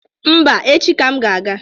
Mba, echi ka m ga-aga